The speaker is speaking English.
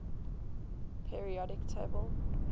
periodic table